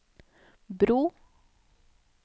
bro